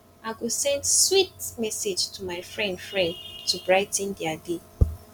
i go send sweet message to my friend friend to brigh ten dia day